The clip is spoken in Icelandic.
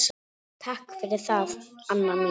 Takk fyrir það, Anna mín.